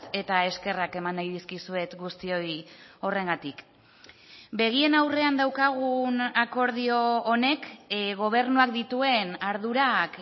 eta eskerrak eman nahi dizkizuet guztioi horrengatik begien aurrean daukagun akordio honek gobernuak dituen ardurak